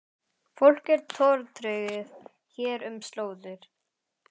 Fólk er tortryggið hér um slóðir